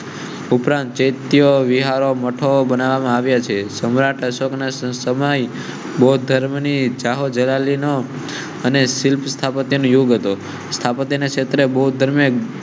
ઉપરાંત ચૈતન્ય વિહાર મઠો બનાવ્યા છે. સમ્રાટ અશોક ના સમય બૌદ્ધ ધર્મની અને શિલ્પ સ્થાપત્ય યોગ સ્થાપત્ય ક્ષેત્રે બૌદ્ધ